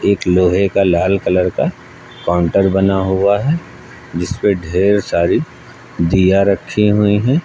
एक लोहे का लाल कलर का काउंटर बना हुआ है जिस पे ढेर सारी दिया रखी हुई हैं।